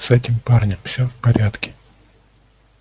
с этим парнем всё в порядке